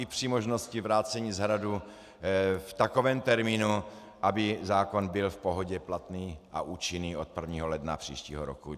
I při možnosti vrácení z Hradu v takovém termínu, aby zákon byl v pohodě platný a účinný od 1. ledna příštího roku.